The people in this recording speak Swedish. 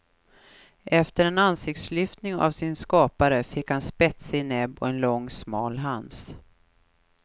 Efter en ansiktslyftning av sin skapare fick han spetsig näbb och en lång smal hals.